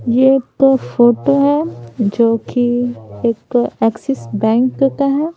ये एक फोटो है जो कि एक एक्सिस बैंक का है।